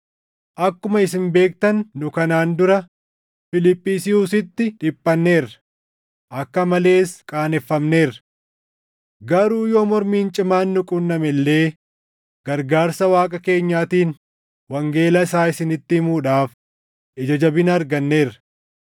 Akkuma isin beektan nu kanaan dura Fiiliphisiyuusitti dhiphanneerra; akka malees qaaneffamneerra. Garuu yoo mormiin cimaan nu qunname illee gargaarsa Waaqa keenyaatiin wangeela isaa isinitti himuudhaaf ija jabina arganneerra.